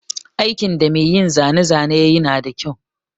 Aikin da mai yin zane zane yayi nada kyau.